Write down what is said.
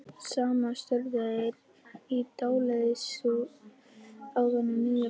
Saman störðu þær í dáleiðslu á þennan nýja Fúsa.